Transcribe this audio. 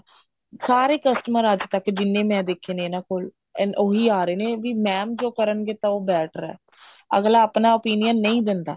ਸਾਰੇ customer ਅੱਜ ਤੱਕ ਜਿੰਨੇ ਮੈਂ ਦੇਖੇ ਨੇ ਇਹਨਾ ਕੋਲ ਉਹੀ ਆ ਰਹੇ ਨੇ ਵੀ mam ਜੋ ਕਰਨਗੇ ਵੀ ਉਹ better ਐ ਅੱਗਲਾ ਆਪਣਾ opinion ਨਹੀਂ ਦਿੰਦਾ